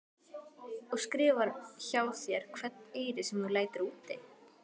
Og skrifar hjá þér hvern eyri sem þú lætur úti?